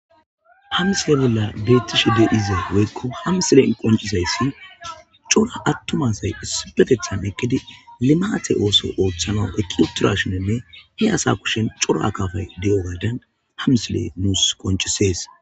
Ha misile bolla betishe diza woyiko qonc'sidayisi co'ra atuma asayi issippetetani eqidi limate oso otanawu eqiwutidayisanne he asa kushe co'ra akafayi diyogadan ha misile nusi qonccises